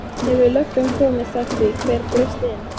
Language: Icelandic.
Hefur löggan komist að því hver braust inn?